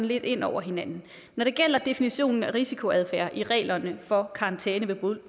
lidt ind over hinanden når det gælder definitionen af risikoadfærd i reglerne for karantæne ved